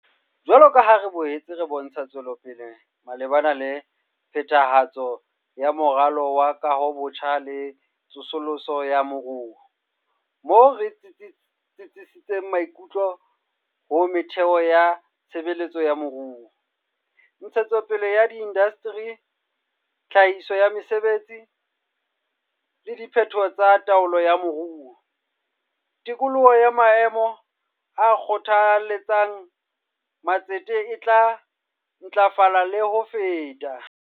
Jwalo ka ha re boetse re bontsha tswelopele malebana le phethahatso ya Moralo wa Kahobotjha le Tsosoloso ya Moruo - moo re tsitsisitseng maikutlo ho metheo ya tshe betso ya moruo, ntshetsopele ya diindasteri, tlhahiso ya mesebetsi, le diphetoho tsa taolo ya moruo - tikoloho ya maemo a kgothaletsang ma tsete e tla ntlafala le ho feta.